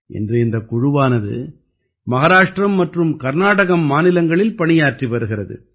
இன்று இந்தக் குழுவானது மஹாராஷ்டிரம் மற்றும் கர்நாடகம் மாநிலங்களில் பணியாற்றி வருகிறது